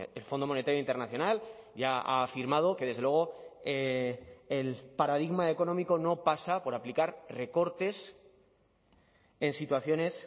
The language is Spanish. el fondo monetario internacional ya ha afirmado que desde luego el paradigma económico no pasa por aplicar recortes en situaciones